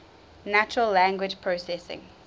natural language processing